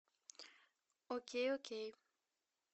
окей окей